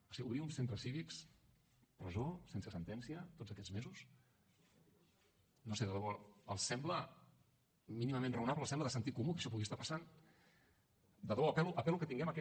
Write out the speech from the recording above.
o sigui obrir uns centres cívics presó sense sentència tots aquests mesos no ho sé de debò els sembla mínimament raonable els sembla de sentit comú que això pugui estar passant de debò apel·lo que tinguem aquest